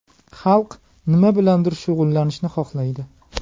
Xalq nima bilandir shug‘ullanishni xohlaydi.